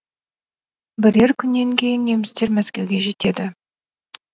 бірер күннен кейін немістер мәскеуге жетеді